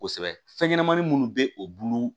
Kosɛbɛ fɛnɲɛnɛmanin minnu bɛ o bulu